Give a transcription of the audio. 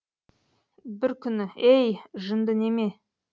бір күні ей жынды неме